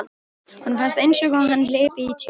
Honum fannst einsog hann hlypi í tjöru.